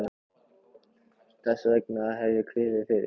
Þess vegna hef ég kviðið fyrir.